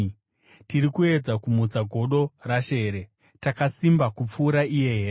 Tiri kuedza kumutsa godo raShe here? Takasimba kupfuura iye here?